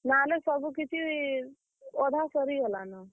ନା ହେଲେ ସବୁ କିଛି, ଅଧା ସରିଗଲା ନ।